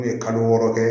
U ye kalo wɔɔrɔ kɛ